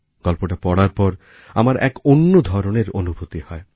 গল্পটা পড়ার পর আমার এক অন্য ধরনের অনুভুতি হয়